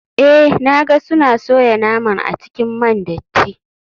Eh na ga suna soya naman a cikin man datti.